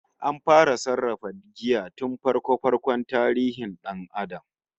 An fara sarrafa giya tun farko-farkon tarihin dan Adam